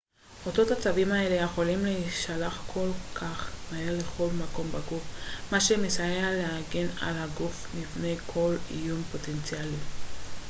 אותות עצביים האלה יכולים להישלח כל כך מהר לכל מקום בגוף מה שמסייע להגן על הגוף מפני כל איום פוטנציאלי